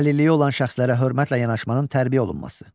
Əlilliyi olan şəxslərə hörmətlə yanaşmanın tərbiyə olunması.